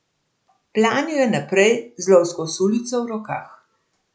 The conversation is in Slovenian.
Planil je naprej z lovsko sulico v rokah.